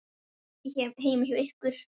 Ekki heima hjá ykkur.